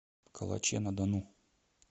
калаче на дону